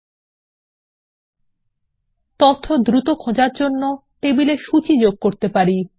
আমরা তথ্য দ্রুত খোঁজার জন্য টেবিল এ সূচী যোগ করতে পারি